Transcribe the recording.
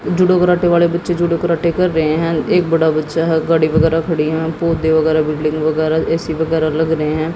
जुडो karate वाले बच्चे judo karate खेल रहे हैं एक बड़ा बच्चा है गाड़ी वगैरह खड़ी हैं पौधे वगैरह बिल्डिंग वगैरह ए_सी वगैरह लग रहे हैं।